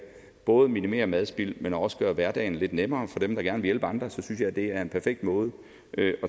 både minimere madspil men også gøre hverdagen lidt nemmere for dem der gerne vil hjælpe andre så synes jeg at det er en perfekt måde at